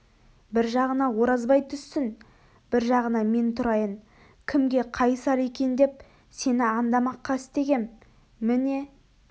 бір жағына оразбай түссін бір жағына мен тұрайын кімге қайысар екен деп сені андамаққа істегем міне